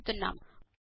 ను వాడుతున్నాము